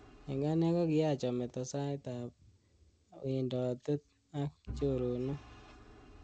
Eng ane kokiyaach ameto sait ab wendotet ak.choronok.